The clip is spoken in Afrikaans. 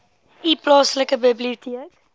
u plaaslike biblioteek